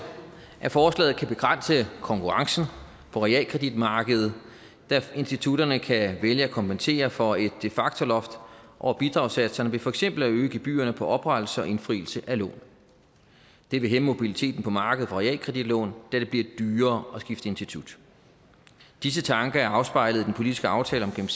at forslaget kan begrænse konkurrencen på realkreditmarkedet da institutterne kan vælge at kompensere for et de facto loft over bidragssatserne ved for eksempel at øge gebyrerne på oprettelse og indfrielse af lån det vil hæmme mobiliteten på markedet for realkreditlån da det bliver dyrere at skifte institut disse tanker er afspejlet i den politiske aftale om